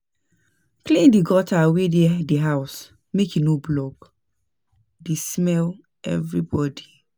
Clean di gutter wey dey di house make e no block, dey smell everybody